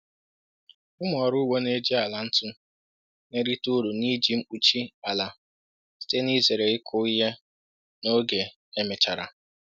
Ụmụ ọrụ ugbo na-eji ala ntu na-erite uru n’iji mkpuchi ala site n’ịzere ịkụ ihe n’oge emechara.”